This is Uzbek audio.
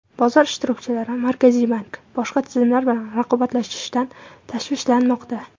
Bozor ishtirokchilari Markaziy bank boshqa tizimlar bilan raqobatlashishidan tashvishlanmoqda.